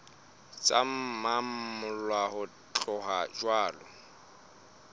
tse mmalwa ho tloha jwale